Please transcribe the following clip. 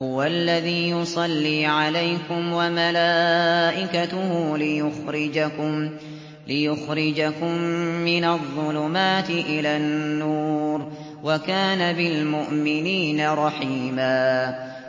هُوَ الَّذِي يُصَلِّي عَلَيْكُمْ وَمَلَائِكَتُهُ لِيُخْرِجَكُم مِّنَ الظُّلُمَاتِ إِلَى النُّورِ ۚ وَكَانَ بِالْمُؤْمِنِينَ رَحِيمًا